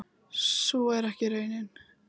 Sú er ekki raunin.